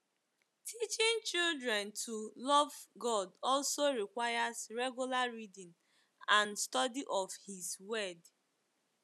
Teaching children to love God also requires regular reading and study of his Word.